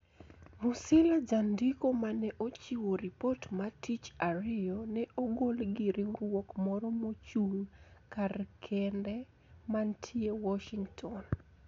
Musila jandiko ma ne ochiwo ripot ma tich Ariyo ne ogol gi riwruok moro mochung` kar kende mantie Washington